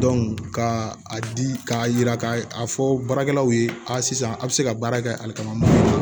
ka a di k'a yira k'a fɔ baarakɛlaw ye aa sisan a' bɛ se ka baara kɛ alika